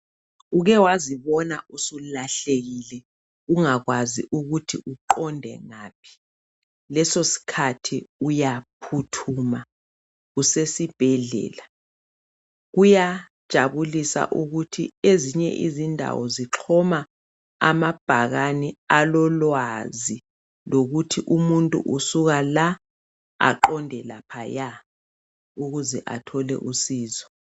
Uke wazibona sulahlekile ungakwazi ukuthi uqonde ngaphi, leso sikhathi uyaphuthuma usesibhedlela? Kuyajabulisa ukuthi ezinye izindawo zixhoma amabhakane alolwazi lokuthi umuntu usuka la aqonde laphaya ukuze athole usizo